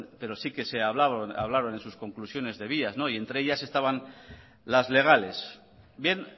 pero sí que se hablaron en sus conclusiones de vías y entre ellas estaban las legales bien